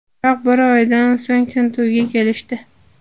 Biroq bir oydan so‘ng tintuvga kelishdi.